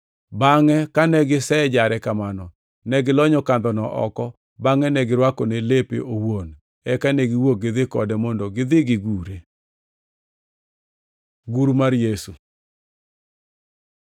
Bangʼ kane gisejare kamano, ne gilonyo kandhono oko bangʼe girwakone lepe owuon. Eka ne giwuok gidhi kode mondo gidhi gigure. Gur mar Yesu